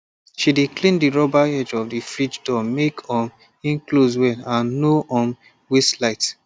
she dey clean the rubber edge of the fridge door make um e close well and no um waste light